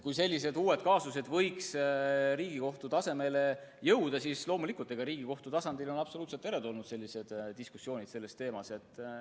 Kui uued kaasused peaksid Riigikohtusse jõudma, siis loomulikult on Riigikohtu tasandil sellised diskussioonid sel teemal absoluutselt teretulnud.